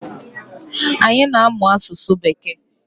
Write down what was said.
Anyi na-amụ asụsụ bekee